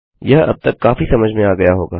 यह अब तक काफी समझ में आ गया होगा